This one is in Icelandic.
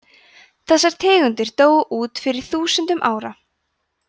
þessar tegundir dóu út fyrir þúsundum ára